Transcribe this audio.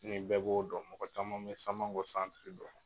Fili bɛɛ b'o dɔn. Mɔgɔ caman bɛ Samankɔ dɔn.